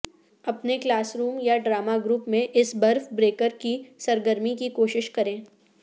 اپنے classroom یا drama group میں اس برف بریکر کی سرگرمی کی کوشش کریں